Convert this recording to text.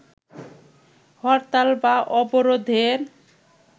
হরতাল বা অবরোধের